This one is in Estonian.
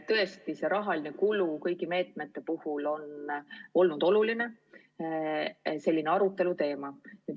Tõesti, rahakulu kõigi meetmete puhul on olnud oluline aruteluteema.